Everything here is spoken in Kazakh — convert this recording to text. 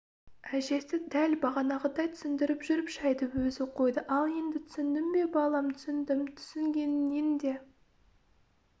әжесі дәл бағанағыдай түсіндіріп жүріп шайды өзі қойды ал енді түсіндің бе балам түсіндім түсінгеніңнен де